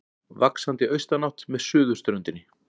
Vaxandi austanátt með suðurströndinni